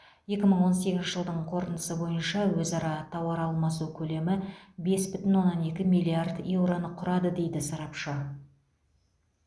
екі мың он сегізінші жылдың қорытындысы бойынша өзара тауар алмасу көлемі бес бүтін оннан екі миллиард еуроны құрады дейді сарапшы